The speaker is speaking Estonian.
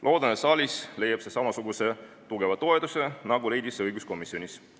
Loodan, et saalis leiab see samasuguse tugeva toetuse, nagu leidis õiguskomsjonis.